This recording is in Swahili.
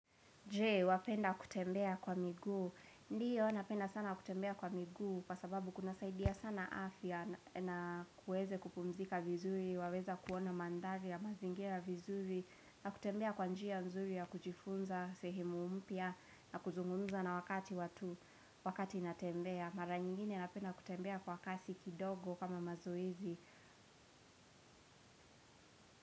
Je, wapenda kutembea kwa miguu, ndio napenda sana kutembea kwa miguu kwa sababu kunasaidia sana afya na kuweze kupumzika vizuri, waweza kuona mandhari ya mazingira vizuri. Na kutembea kwa njia mzuri ya kujifunza sehemu mpya na kuzungunza na wakati watu wakati natembea. Mara nyingine napenda kutembea kwa kasi kidogo kama mazoezi.